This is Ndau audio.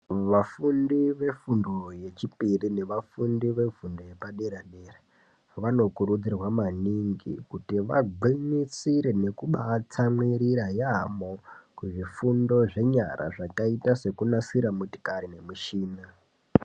Vafundi vefundo yechipiri nevafundi vefundo vepadera dera vanokurudzirwa maningi kuti vagwinyisire nekubatsamwirira yaamo kuzvifundo zvenyara zvakaita sekunasira motokari nemushina.